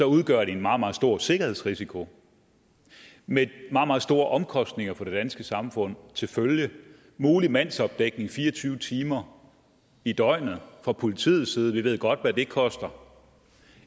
udgør de en meget meget stor sikkerhedsrisiko med meget meget store omkostninger for det danske samfund til følge mulig mandsopdækning fire og tyve timer i døgnet fra politiets side og vi ved godt hvad det koster